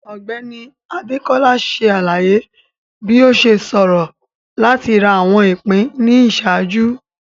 Ọgbẹni Adekola ṣe alaye bi o ṣe ṣoro lati ra awọn ipin ni iṣaaju.